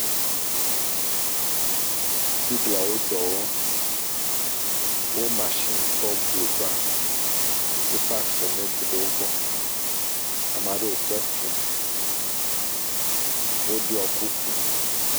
Biglawo dɔ wɔm. Wo mashini kɔ blu ba. Wo paki simiti ɖe wo gbɔ. Ame aɖewo le kpe kum. Woɖiɔ kuku.